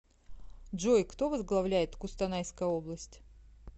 джой кто возглавляет кустанайская область